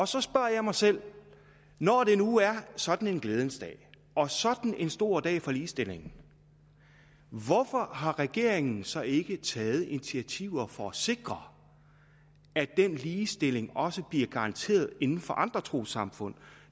så spørger jeg mig selv når det nu er sådan en glædens dag og sådan en stor dag for ligestillingen hvorfor har regeringen så ikke taget initiativer for at sikre at den ligestilling også bliver garanteret inden for andre trossamfund